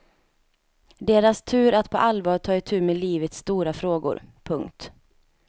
Deras tur att på allvar ta itu med livets stora frågor. punkt